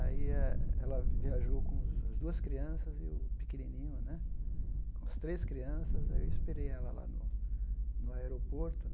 Aí eh ela viajou com os as duas crianças e o pequenininho né, com as três crianças, aí eu esperei ela lá no no aeroporto.